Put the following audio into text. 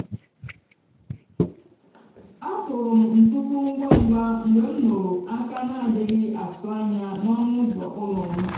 a kpụrụ m ntutu ngwa ngwa mgbe m nụrụ aka na-adịghị atụ anya n’ọnụ ụzọ ụlọ m